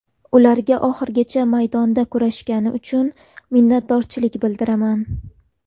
Ularga oxirigacha maydonda kurashgani uchun minnatdorchilik bildiraman.